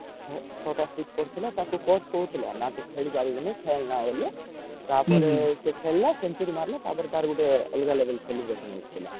ଛଅ ଟା stich ପଡିଥିଲା ତାକୁ coach କହୁଥିଲେ ନା ତୁ ଖେଳିପାରିବୁନି ଖେଳେନା ବୋଲି ତାପରେ ସେ ଖେଳିଳ century ମାରିଲା ତାପରେ ଗୋଟେ ଅଲଗା level celebration ଥିଲା